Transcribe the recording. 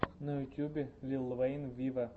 на ютубе лил вэйн виво